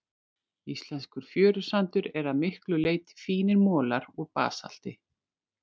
Íslenskur fjörusandur er að miklu leyti fínir molar úr basalti.